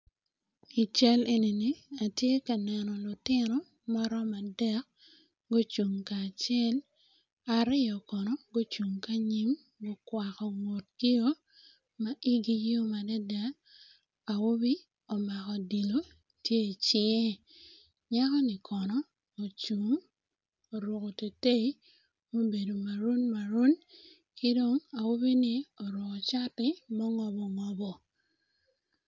I cal enini atye ka neno lutino maromo adek gucung kacel aryo kono gucung kanyim kugwako ngutgio ma igi yom adada awobi omako odilo tye icinge nyako ni kono ocungo oruko tetei ma obedo maroon maroon kidong awobi ni oruko cati mongobo ngobo.